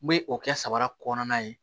N bɛ o kɛ sabara kɔnɔna ye